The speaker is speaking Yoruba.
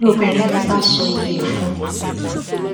lobìnrin yẹn bá ṣòye ẹ fún un